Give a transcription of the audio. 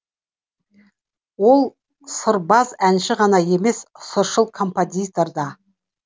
ол сырбаз әнші ғана емес сыршыл композитор да